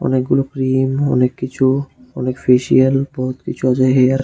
অনেকগুলো ক্রিম অনেক কিছু অনেক ফেসিয়াল এবং কিছু আছে হেয়ার ।